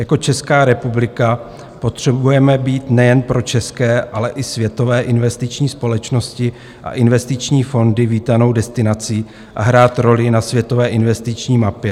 Jako Česká republika potřebujeme být nejen pro české, ale i světové investiční společnosti a investiční fondy vítanou destinací a hrát roli na světové investiční mapě.